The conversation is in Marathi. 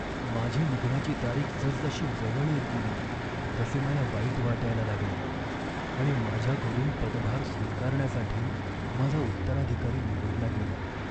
माझी निघण्याची तारीख जसजशी जवळ येत गेली तसे मला वाईट वाटायला लागले आणि माझ्याकडून पदभार स्वीकारण्यासाठी माझा उत्तराधिकारी निवडला गेला.